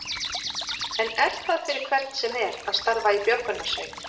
En er það fyrir hvern sem er að starfa í björgunarsveit?